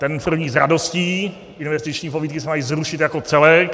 Ten první s radostí, investiční pobídky se mají zrušit jako celek.